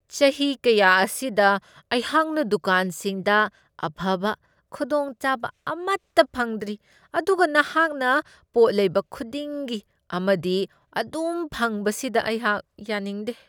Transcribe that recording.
ꯆꯍꯤ ꯀꯌꯥ ꯑꯁꯤꯗ ꯑꯩꯍꯥꯛꯅ ꯗꯨꯀꯥꯟꯁꯤꯡꯗ ꯑꯐꯕ ꯈꯨꯗꯣꯡꯆꯥꯕ ꯑꯃꯠꯇ ꯐꯪꯗ꯭ꯔꯤ ꯑꯗꯨꯒ ꯅꯍꯥꯛꯅ ꯄꯣꯠ ꯂꯩꯕ ꯈꯨꯗꯤꯡꯒꯤ ꯑꯃꯗꯤ ꯑꯗꯨꯝ ꯐꯪꯕꯁꯤꯗ ꯑꯩꯍꯥꯛ ꯌꯥꯅꯤꯡꯗꯦ ꯫